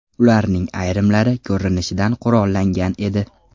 Ularning ayrimlari, ko‘rinishidan, qurollangan edi.